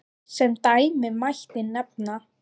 Sem dæmi mætti nefna